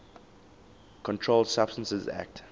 controlled substances acte